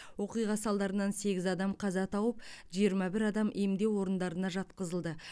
оқиға салдарынан сегіз адам қаза тауып жиырма бір адам емдеу орындарына жатқызылды